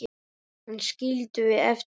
Hana skildum við eftir heima.